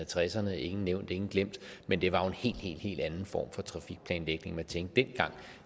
tresserne ingen nævnt ingen glemt men det var jo en helt helt anden form for trafikplanlægning man tænkte i dengang